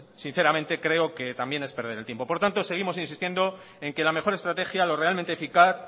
sinceramente creo que también es perder el tiempo por lo tanto seguimos insistiendo en que la mejor estrategia lo realmente eficaz